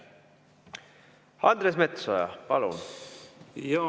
Andres Metsoja, palun!